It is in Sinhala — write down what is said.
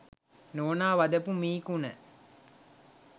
නෝනා වදපු මී කුණ.